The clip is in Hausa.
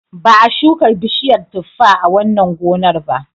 Ba a shuka bishiyar tuffa a wannan gonar ba.